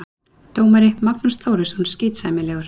Dómari: Magnús Þórisson, skítsæmilegur.